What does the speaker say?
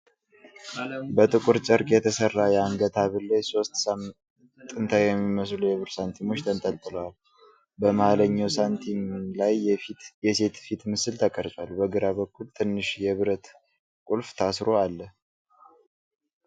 በጥቁር ጨርቅ የተሰራ የአንገት ሐብል ላይ ሦስት ጥንታዊ የሚመስሉ የብር ሳንቲሞች ተንጠልጥለዋል። በመሀልኛው ሳንቲም ላይ የሴት ፊት ምስል ተቀርጿል። በግራ በኩል ትንሽ የብረት ቁልፍ ታስሮ አለ።